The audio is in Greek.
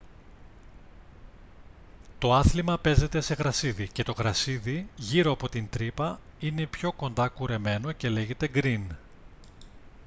το άθλημα παίζεται σε γρασίδι και το γρασίδι γύρω από την τρύπα είναι πιο κοντά κουρεμένο και λέγεται γκριν